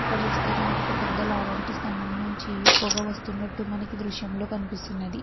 అక్కడ చూస్తే గనుక ఒక పెద్ద లావంటి స్తంభం నుంచి పొగ వస్తునట్టు మనకి దృశ్యం లో కనిపిస్తున్నది.